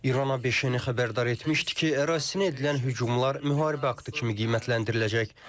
İrana beşeni xəbərdar etmişdi ki, ərazisinə edilən hücumlar müharibə aktı kimi qiymətləndiriləcək.